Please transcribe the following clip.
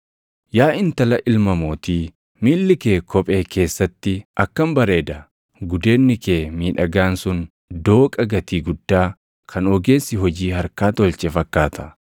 Yaa intala ilma mootii, miilli kee kophee keessatti akkam bareeda! Gudeedni kee miidhagaan sun dooqa gatii guddaa kan ogeessi hojii harkaa tolche fakkaata.